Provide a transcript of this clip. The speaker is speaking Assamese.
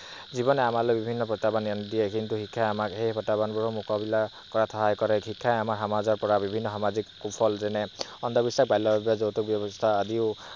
জীৱনে আমাৰ লৈ বহুত প্ৰত্যাহ্বান আনি দিয়ে কিন্তু শিক্ষাই প্ৰত্যাহ্বান বোৰৰ সন্মুখীন হবলৈ সাহস দিয়ে। শিক্ষাই আমাৰ সমাজত বিভিন্ন সামাজিক সুফল তেনে বাল্য বিবাহ, যৌতোক ব্যৱস্থা আদিও